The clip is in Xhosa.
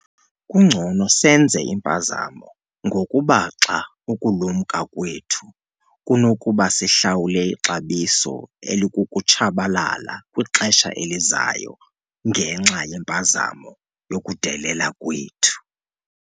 Kungcono senze impazamo ngokubaxa ukulumka kwethu kunokuba sihlawule ixabiso elikukutshabalala kwixesha elizayo ngenxa yempazamo yokudelela kwethu.